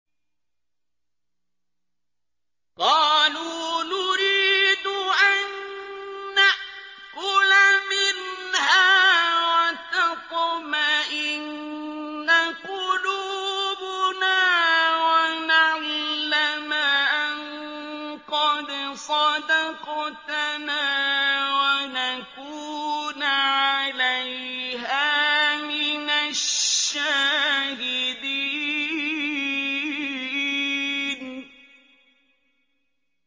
قَالُوا نُرِيدُ أَن نَّأْكُلَ مِنْهَا وَتَطْمَئِنَّ قُلُوبُنَا وَنَعْلَمَ أَن قَدْ صَدَقْتَنَا وَنَكُونَ عَلَيْهَا مِنَ الشَّاهِدِينَ